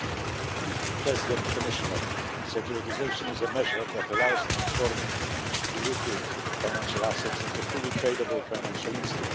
Mr President, Commissioner, securitisation is a measure that allows for the transformation of illiquid financial assets into fully tradable financial instruments.